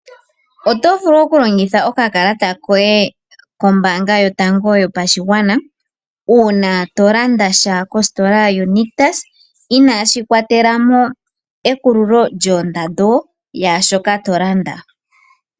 Oto vulu oku longitha okakalata koye kombaanga yotango yopashigwana uuna to landa sha kositola yonictus inaashi kwatela mo ekululo lyoondando yaashoka to landa.